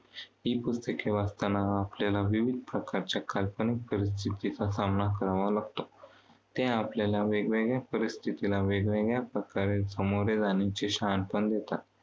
ही पुस्तके वाचताना आपल्याला विविध प्रकारच्या काल्पनिक परिस्थितीचा समना करावा लागतो. ते आपल्याला वेगवेगळ्या परिस्थितीला वेगवेगळ्या प्रकारे समोर जाण्याचे शहाणपण देतात.